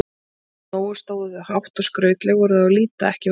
Nógu stóðu þau hátt og skrautleg voru þau á að líta, ekki vantaði það.